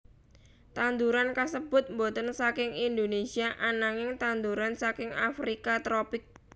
Tanduran kasébut boten saking Indonesia ananging tanduran saking Afrika tropik